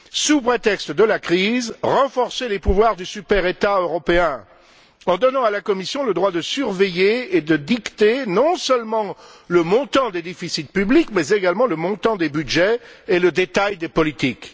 Sous prétexte de la crise, renforcer les pouvoirs du super État européen en donnant à la Commission le droit de surveiller et de dicter non seulement le montant des déficits publics, mais également le montant des budgets et le détail des politiques.